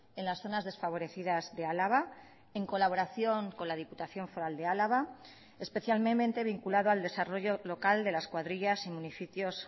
en las zonas desfavorecidas de álava en colaboración con la diputación foral de álava especialmente vinculado al desarrollo local de las cuadrillas y municipios